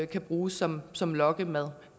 kan bruges som som lokkemad